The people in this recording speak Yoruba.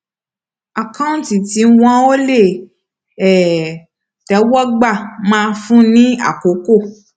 àkáǹtí tí wọn ò le um tẹwọ gbà máa fún ni àkókò